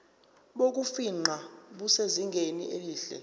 bokufingqa busezingeni elihle